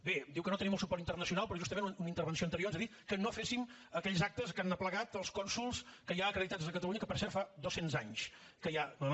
bé diu que no tenim el suport internacional però justament una intervenció anterior ens ha dit que no féssim aquells actes que han aplegat els cònsols que hi ha acreditats a catalunya que per cert fa dos cents anys que n’hi ha